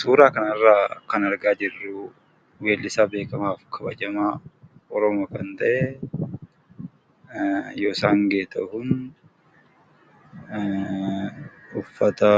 Suuraa kanarraa kan argaa jirru, weellisaa beekkamaaf kabajamaa Oromoo kan ta'e, Yoosan Geetahun, uffata